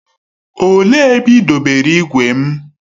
Olee ebe ị dobere igwe m?